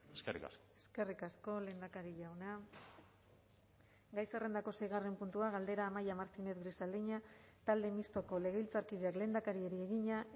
eskerrik asko eskerrik asko lehendakari jauna gai zerrendako seigarren puntua galdera amaia martínez grisaleña talde mistoko legebiltzarkideak lehendakariari egina